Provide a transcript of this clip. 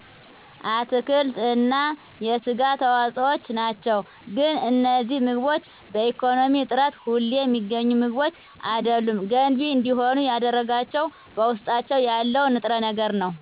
አትክልት እና የስጋ ተዋፆዎችናቸው ግን እነዚህ ምግቦች በኢኮነሚ እጥረት ሁሌ ሚገኙ ምግቦች አደሉም ገንቢ እንዲሆኑ ያደረጋቸው በውስጣቸው ያለው ንጥረ ነገር ነው